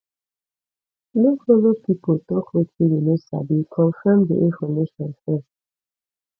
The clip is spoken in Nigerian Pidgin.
no follow pipo talk wetin you no sabi confirm di information first